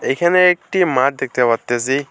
এখানে একটি মাঠ দেখতে পারতাসি।